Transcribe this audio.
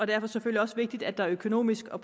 det selvfølgelig også vigtigt at der økonomisk og